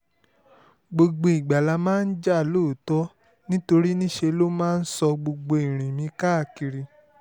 gbogbo ìgbà la máa ń jà lóòótọ́ nítorí níṣe ló máa ń sọ gbogbo ìrìn mi káàkiri